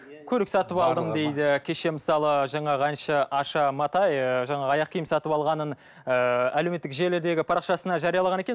көлік сатып алдым дейді кеше мысалы жаңағы әнші аша матай ы жаңағы аяқ киім сатып алғанын ыыы әлеуметтік желідегі парақшасына жариялаған екен